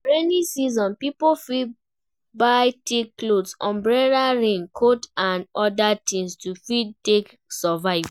For rainy season pipo fit buy thick cloth, umbrella rain coat and oda things to fit take survive